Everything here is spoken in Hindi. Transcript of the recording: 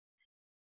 या CTRLZ दबाएं